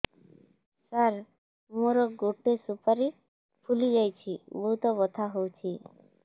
ସାର ମୋର ଗୋଟେ ସୁପାରୀ ଫୁଲିଯାଇଛି ବହୁତ ବଥା ହଉଛି